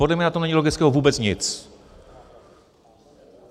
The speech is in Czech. Podle mě na tom není logického vůbec nic.